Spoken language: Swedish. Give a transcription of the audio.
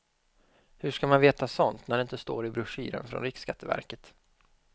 Hur ska man veta sånt när det inte står i broschyren från riksskatteverket.